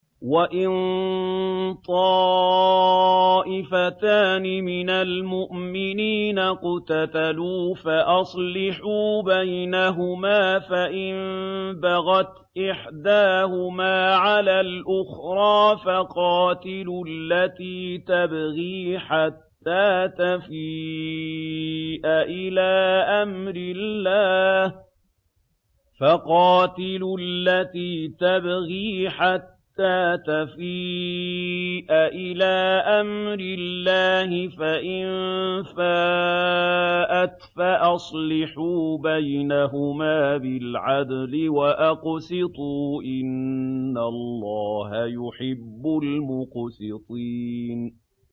وَإِن طَائِفَتَانِ مِنَ الْمُؤْمِنِينَ اقْتَتَلُوا فَأَصْلِحُوا بَيْنَهُمَا ۖ فَإِن بَغَتْ إِحْدَاهُمَا عَلَى الْأُخْرَىٰ فَقَاتِلُوا الَّتِي تَبْغِي حَتَّىٰ تَفِيءَ إِلَىٰ أَمْرِ اللَّهِ ۚ فَإِن فَاءَتْ فَأَصْلِحُوا بَيْنَهُمَا بِالْعَدْلِ وَأَقْسِطُوا ۖ إِنَّ اللَّهَ يُحِبُّ الْمُقْسِطِينَ